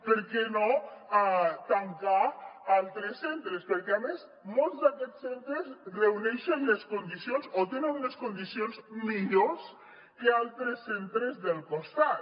per què no tancar altres centres perquè a més molts d’aquests centres reuneixen les condicions o tenen unes condicions millors que altres centres del costat